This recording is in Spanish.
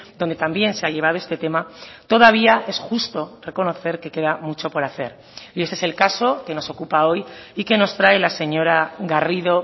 donde también se ha llevado este tema todavía es justo reconocer que queda mucho por hacer y ese es el caso que nos ocupa hoy y que nos trae la señora garrido